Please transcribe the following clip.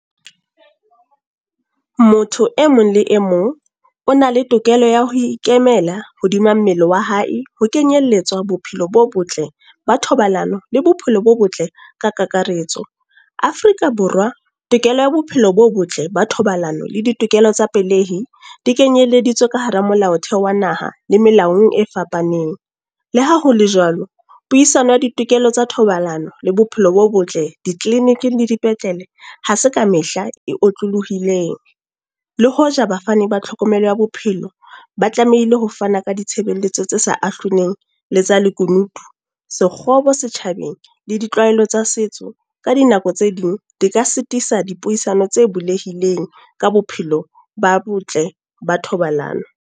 Motho e mong le e mong, o na le tokelo ya ho ikemela hodima mmele wa hae. Ho kenyelletswa bophelo bo botle, ba thobalano le bophelo bo botle, ka kakaretso. Afrika Borwa, tokelo ya bophelo bo botle ba thobalano le ditokelo tsa pelehi, di kenyeleditswe ka hara molaotheo wa naha le melaong e fapaneng. Le ha hole jwalo, puisano ya ditokelo tsa thobalano le bophelo bo botle, di-clinic-ing le dipetlele ha se ka mehla e otlolohileng. Le hoja bafani ba tlhokomelo ya bophelo. Ba tlamehile ho fana ka ditshebeletso tse sa ahloleng, le tsa lekunutu. Sekgobo setjhabeng le ditlwaelo tsa setso, ka dinako tse ding di ka sitisa dipuisano tse bulehileng, ka bophelo ba botle ba thobalano.